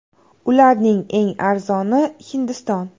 Ularning eng arzoni Hindiston.